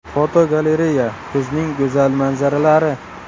Fotogalereya: Kuzning go‘zal manzaralari.